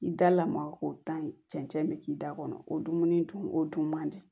I da lamaga o tan ɲi cɛncɛn bɛ k'i da kɔnɔ o dumuni dun o dun man di